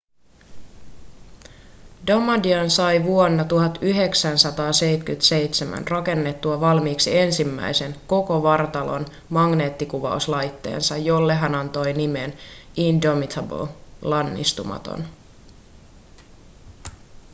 damadian sai vuonna 1977 rakennettua valmiiksi ensimmäisen koko vartalon magneettikuvauslaitteensa jolle hän antoi nimen indomitable lannistumaton